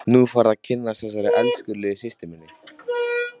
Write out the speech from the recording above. Nú færðu að kynnast þessari elskulegu systur minni!